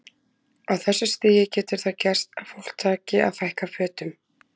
Á þessu stigi getur það gerst að fólk taki að fækka fötum.